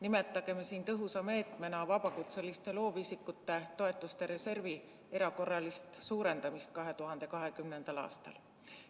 Nimetagem siin tõhusa meetmena vabakutseliste loovisikute toetuste reservi erakorralist suurendamist 2020. aastal.